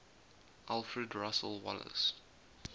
alfred russel wallace